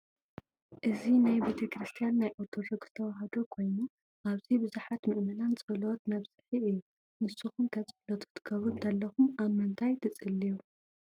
እዚ ናይ ቤተ-ክርስትያን ናይ ኦርቶዶክስ ተዋህዶ ኮይኑ ኣብዚ ብዙሓት ምእመናን ፀሎት መብፅሒ እዩ። ንስኩም ከ ፆሎት ክትገብሩ እንተለኩ ኣብ ምንታይ ትፅልዩ?